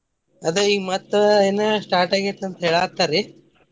ಅದ ಈಗ ಮತ್ತ್ ಇನ್ನು start ಆಗೇತಿ ಅಂತ ಹೇಳಕತ್ತಾರಿ.